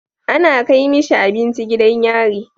Ana Kai mishi abinci gidan yari